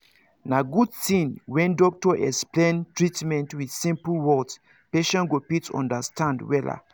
na good thing when doctor explain treatment with simple words patients go fit understand wella